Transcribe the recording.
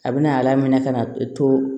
A bɛ na a laminɛ ka na to